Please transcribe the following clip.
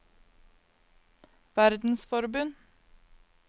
verdensforbund